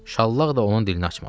Şallaq da onun dilini açmadı.